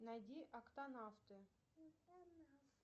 найди октанавты